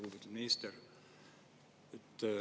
Lugupeetud minister!